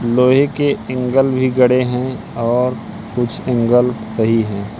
लोहे के एंगल भी गड़े हैं और कुछ एंगल सही है।